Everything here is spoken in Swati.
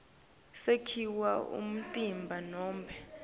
sakhiwo umtimba nobe